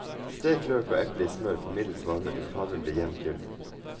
Stek løk og eple i smør på middels varme til farven blir jevnt gylden.